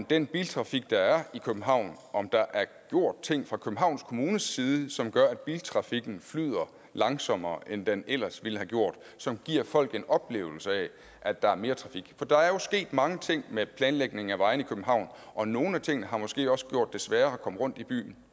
den biltrafik der er i københavn er om der er gjort ting fra københavns kommunes side som gør at biltrafikken flyder langsommere end den ellers ville have gjort og som giver folk en oplevelse af at der er mere trafik for der er jo sket mange ting med planlægning af vejene i københavn og nogle af tingene har måske også gjort det sværere at komme rundt i byen